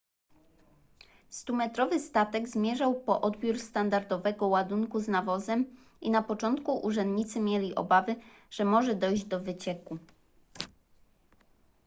stumetrowy statek zmierzał po odbiór standardowego ładunku z nawozem i na początku urzędnicy mieli obawy że może dojść do wycieku